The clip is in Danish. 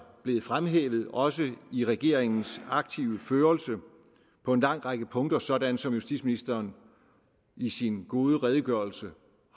blevet fremhævet også i regeringens aktive førelse på en lang række punkter sådan som justitsministeren i sin gode redegørelse